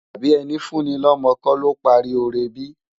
Àbi èni fú ni lòmò kò ló pári óré bi?